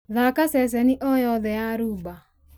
thaaka ceceni o yothe ya rumba